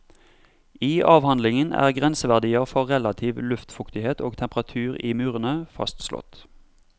I avhandlingen er grenseverdier for relativ luftfuktighet og temperatur i murene fastslått.